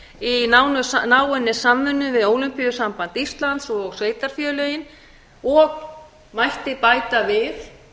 í náinni samvinnu við ólympíusamband íslands og sveitarfélögin og mætti bæta við